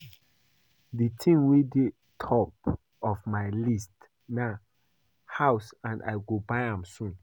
The thing wey dey top of my list na house and I go buy am soon